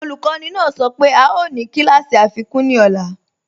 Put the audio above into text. Ọlukọni naa sọ pe a yoo ni kílàsí afikun ní ọ̀là.